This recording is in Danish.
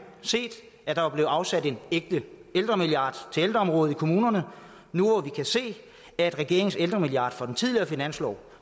set at der var blevet afsat en ægte ældremilliard til ældreområdet i kommunerne nu hvor vi kan se at regeringens ældremilliard fra den tidligere finanslov